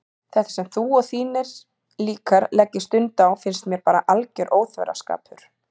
Þetta sem þú og þínir líkar leggið stund á finnst mér bara alger óþverraskapur.